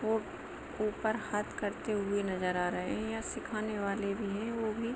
वो ऊपर हाथ करते हुए नज़ारे है यहाँ सीखने वाला भी है वो भी--